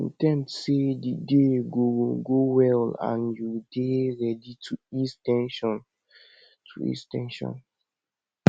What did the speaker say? in ten d sey di day go go well and you dey ready to ease ten sion to ease ten sion